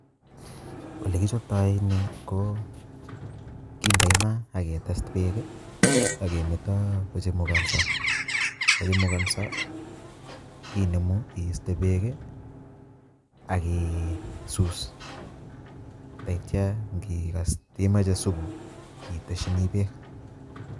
Ole kichobtoi ni ko kindoi maa ak ketes beek ak kemeto kochamukonso kochamukonso imenu iiste beek ak isus taitya ngikas imoche supu iteshini beek.